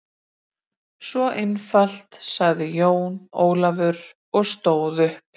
Svona einfalt, sagði Jón Ólafur og stóð upp.